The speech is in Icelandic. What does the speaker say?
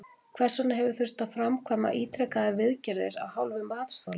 Hvers vegna hefur þurft að framkvæma ítrekaðar viðgerðir af hálfu matsþola?